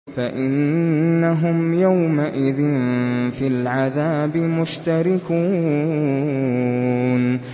فَإِنَّهُمْ يَوْمَئِذٍ فِي الْعَذَابِ مُشْتَرِكُونَ